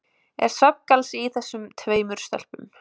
Er svefngalsi í þessum tveimur stelpum?